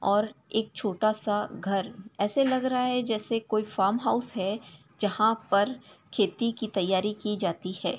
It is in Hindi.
और एक छोटा सा घर ऐसे लग रहा जैसे कोई फार्म हाउस है जहां पर खेती की तैयारी की जाती है।